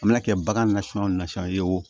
A mana kɛ bagan nasiyɛn o nasɔnya ye wo